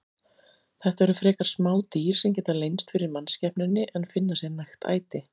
Þetta eru frekar smá dýr sem geta leynst fyrir mannskepnunni en finna sér nægt æti.